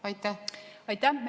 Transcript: Aitäh!